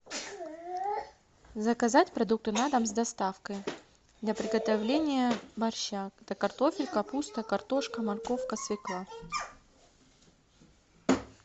заказать продукты на дом с доставкой для приготовления борща это картофель капуста картошка морковка свекла